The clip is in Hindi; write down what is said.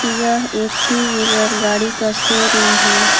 यह एक टू व्हीलर गाड़ी का शोरूम है।